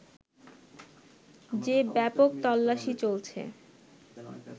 যে ব্যাপক তল্লাশি চলছে